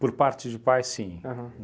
Por parte de pai, sim. Aham